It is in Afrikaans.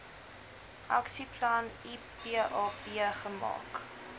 aksieplan ipap gemaak